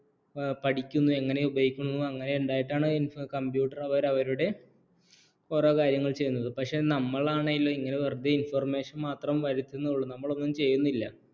പഠിക്കുന്നു എങ്ങനെ ഉപയോഗിക്കുന്നു എങ്ങനെ ഉണ്ടായിട്ടാണ് computer അവർ അവരുടെ ഓരോ കാര്യങ്ങൾ ചെയ്യുന്നത് പക്ഷേ നമ്മളാണെ ഇങ്ങനെ വെറുതെ information മാത്രം വരുത്തുന്നുള്ളൂ നമ്മളൊന്നും ചെയ്യുന്നില്ല